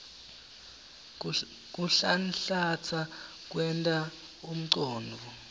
kuhlanhlatsa kwenta umcondvo